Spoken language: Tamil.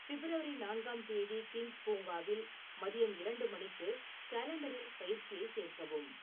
பிப்ரவரி நான்காம் தேதி கிங்ஸ் பூங்காவில் மதியம் இரண்டு மணிக்கு காலண்டரில் பயிற்சியைச் சேர்க்கவும்.